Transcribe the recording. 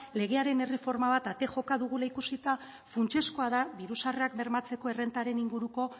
legearen erreforma bat ate joka dugula ikusita funtsezkoa da diru sarrerak bermatzeko errentaren inguruko